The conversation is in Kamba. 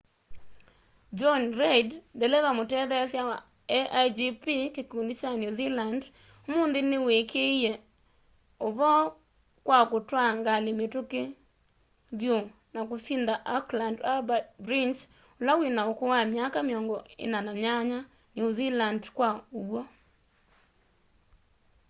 jonny reid ndeleva mũtetheesya wa a1gp kĩkũndĩ kya new zealand ũmũnthĩ nĩwĩkĩĩe ũvoo kwa kũtwaa ngalĩ mĩtũkĩ vyũ na kũsĩnda auckland harbour bridge ũla wĩna ũkũũ wa myaka 48 new zealand kwa ũw'o